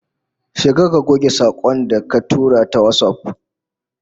Shiga ka goge sakon da ka tura ta WhatsApp